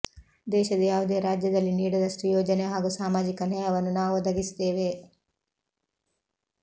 ದೇಶದ ಯಾವುದೇ ರಾಜ್ಯದಲ್ಲಿ ನೀಡದಷ್ಟು ಯೋಜನೆ ಹಾಗೂ ಸಾಮಾಜಿಕ ನ್ಯಾಯವನ್ನು ನಾವು ಒದಗಿಸಿದ್ದೇವೆ